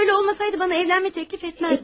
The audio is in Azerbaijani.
Əgər elə olmasaydı mənə evlənmə təklif etməzdi.